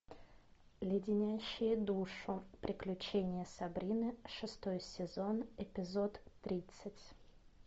леденящие душу приключения сабрины шестой сезон эпизод тридцать